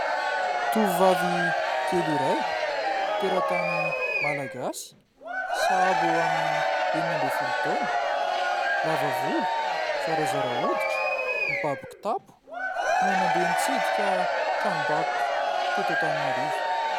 Tovovavy kely iray teratany malagasy sahabo eo amin'ny enina ambiny folo taona, lava volo, zarazara hoditra, mibaby kitapo, no nandeha nitsidika tranom-bakoka teto Antananarivo.